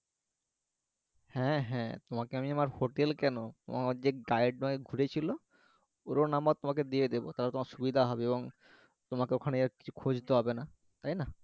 হ্যা হ্যা তোমাকে আমি আমার হোটেল কেন তোমার যে guide মানে ঘুরিয়েছিলো ওরও নাম্বার তোমাকে দিয়ে দিবো তাহলে তোমার সুবিধা হবে এবং তোমাকে ওখানে কিছু খুজতে হবে না তাইনা